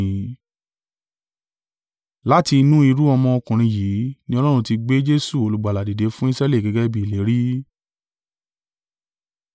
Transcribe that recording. “Láti inú irú-ọmọ ọkùnrin yìí ni Ọlọ́run ti gbé Jesu Olùgbàlà dìde fún Israẹli gẹ́gẹ́ bí ìlérí.